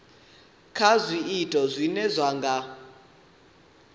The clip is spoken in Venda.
kha zwiito zwine zwa nga